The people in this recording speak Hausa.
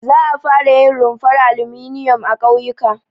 Za a fara yin rumfar alminiyom a ƙauyuka.